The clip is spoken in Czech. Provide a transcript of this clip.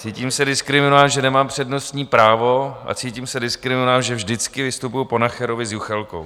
Cítím se diskriminován, že nemám přednostní právo, a cítím se diskriminován, že vždycky vystupuji po Nacherovi s Juchelkou.